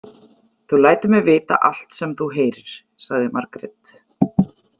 Þú lætur mig vita allt sem þú heyrir, sagði Margrét.